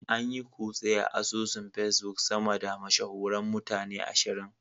An yi kutse a asusun Facebook sama da mashahuran mutane ashirin.